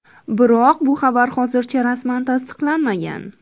Biroq, bu xabar hozircha rasman tasdiqlanmagan.